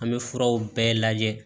An bɛ furaw bɛɛ lajɛ